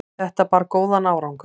þetta bar góðan árangur